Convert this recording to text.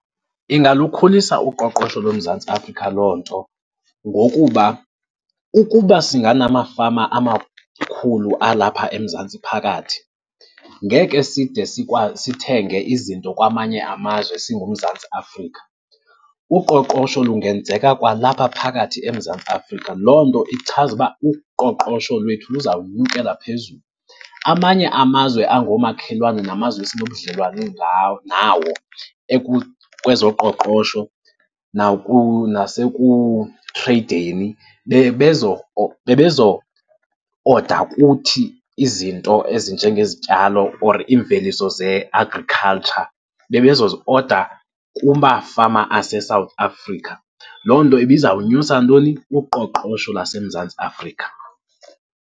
Ingalukhulisa uqoqosho loMzantsi Afrika loo nto ngokuba ukuba singanamafama amakhulu alapha eMzantsi phakathi, ngeke side sikwazi sithenge izinto kwamanye amazwe singuMzantsi Afrika. Uqoqosho lungenzeka kwalapha phakathi eMzantsi Afrika, loo nto ichaza ukuba uqoqosho lwethu luza kunyukela phezulu. Amanye amazwe angoomakhelwane namazwe esinobudlelwane nawo kwezoqoqosho nasekutreyideni, bebezo-order kuthi izinto ezinjengezityalo or iimveliso ze-agriculture, bebezozi-order kumafama aseSouth Africa. Loo nto ibizawunyusa ntoni? Uqoqosho lwaseMzantsi Afrika.